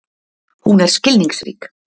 Hún er skilningsrík.